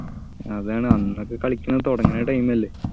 അതാണ് അന്നൊക്കെ കളിക്കാൻ തുടങ്ങുന്ന time അല്ലെ